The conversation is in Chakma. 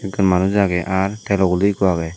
eko manus aage aar telo gulok eko aagey.